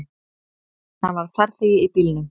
Hann var farþegi í bílnum.